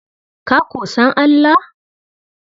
Ka ko san Allah?